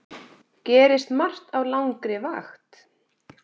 Gerist margt á langri vakt.